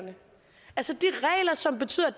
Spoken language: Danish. som betyder at